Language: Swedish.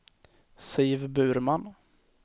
Siv Burman